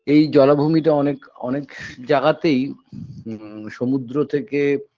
এই জলাভূমিটা অনেক অনেক জায়গাতেই উ সমুদ্র থেকে